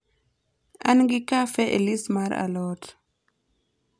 an gi kafe e list mar a lot